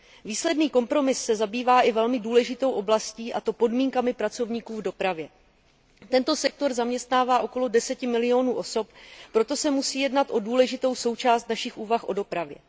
Výsledný kompromis se zabývá i velmi důležitou oblastí, a to podmínkami pracovníků v dopravě. Tento sektor zaměstnává okolo 10 milionů osob, proto se musí jednat o důležitou součást našich úvah o dopravě.